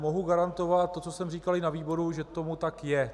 Mohu garantovat to, co jsem říkal i na výboru, že tomu tak je.